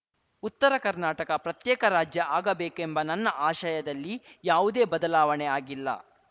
ಉತ್ತರ ಕರ್ನಾಟಕ ಪ್ರತ್ಯೇಕ ರಾಜ್ಯ ಆಗಬೇಕೆಂಬ ನನ್ನ ಆಶಯದಲ್ಲಿ ಯಾವುದೇ ಬದಲಾವಣೆ ಆಗಿಲ್ಲ